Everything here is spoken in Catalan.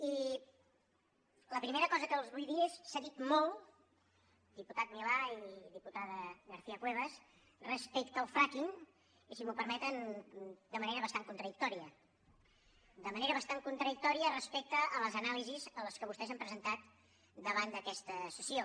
i la primera cosa que els vull dir és s’ha dit molt diputat milà i diputada garcia cuevas respecte al fracking i si m’ho permeten de manera bastant contradictòria respecte a les anàlisis que vostès han presentat davant d’aquesta sessió